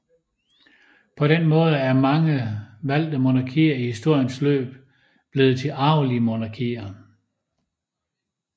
På den måde er mange valgte monarkier i historiens løb blevet til arvelige monarkier